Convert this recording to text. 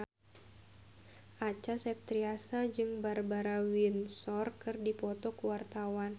Acha Septriasa jeung Barbara Windsor keur dipoto ku wartawan